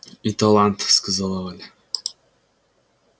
и талант сказала валя